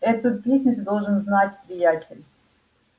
эту песню ты должен знать приятель